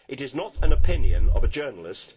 It is not an opinion of a journalist.